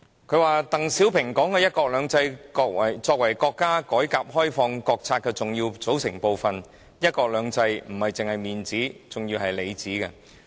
他引述鄧小平說的把"一國兩制"作為國家改革開放國策的重要組成部分，"一國兩制"不只是面子，還是裏子。